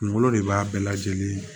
Kunkolo de b'a bɛɛ lajɛlen